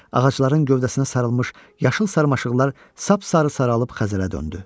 Ağacların gövdəsinə sarılmış yaşıl sarmaşıqlar sap-sarı saralıb xəzələ döndü.